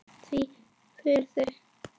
Þvílík fegurð!